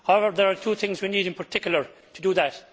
However, there are two things we need in particular to do that.